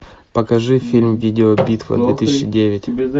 покажи фильм видеобитва две тысячи девять